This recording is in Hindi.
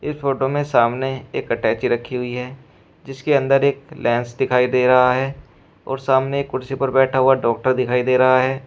इस फोटो में सामने एक अटैची रखी हुई है जिसके अंदर एक लैन्स दिखाई दे रहा है और सामने कुर्सी पर बैठा हुआ डॉक्टर दिखाई दे रहा है।